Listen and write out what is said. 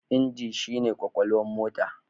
Inji shi ne kwakwalwar mota.